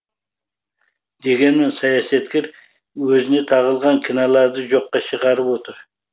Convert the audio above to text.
дегенмен саясаткер өзіне тағылған кінәларды жоққа шығарып отыр